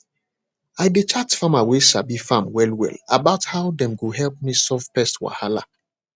i dey chat farmer way sabi farm well well about how dem go help me solve pest wahala